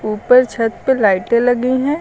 ऊपर छत पर लाइटें लगी है।